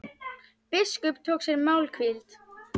Biskup tók sér málhvíld.